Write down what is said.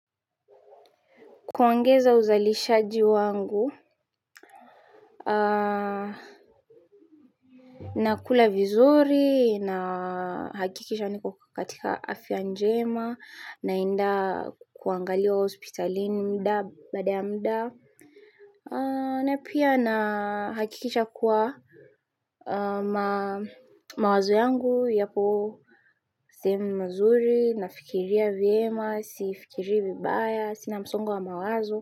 Kuongeza uzalishaji wangu. Na kula vizuri, na hakikisha niko katika afya njema, naenda kuangaliwa hospitalini mda baada ya mda. Na pia na hakikisha kuwa mawazo yangu yapo sehemi mazuri, nafikiria vyema, sifikiri vibaya, sina msongo wa mawazo.